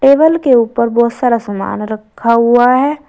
Table के ऊपर बहुत सारा सामान रखा हुआ है।